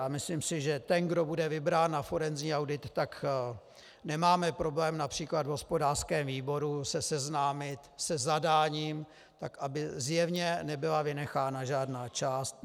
A myslím si, že ten, kdo bude vybrán na forenzní audit, tak nemáme problém například v hospodářském výboru se seznámit se zadáním tak, aby zjevně nebyla vynechána žádná část.